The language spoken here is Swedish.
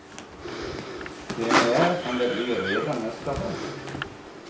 Premiär kan det bli redan nästa höst.